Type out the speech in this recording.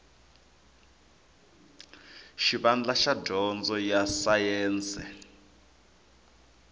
xivandla xa dyondzo ya sayense